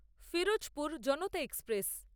Ferozepur Janata express